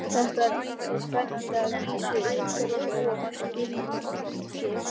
Þetta var æsispennandi, að vísu utar og ofar skilningi hans.